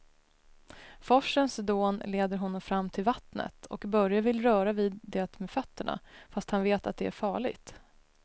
Forsens dån leder honom fram till vattnet och Börje vill röra vid det med fötterna, fast han vet att det är farligt.